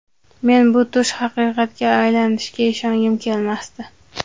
Men bu tush haqiqatga aylanishiga ishongim kelmasdi.